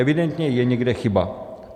Evidentně je někde chyba.